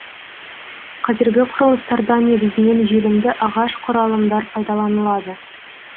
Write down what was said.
қазіргі құрылыстарда негізінен желімді ағаш құралымдар пайдаланылады